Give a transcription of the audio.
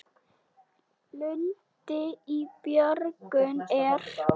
Lundinn í björgum er.